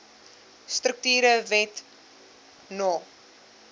strukture wet no